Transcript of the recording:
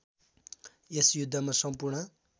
यस युद्धमा सम्पूर्ण